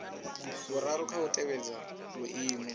vhuraru kha u tevhedza vhuimo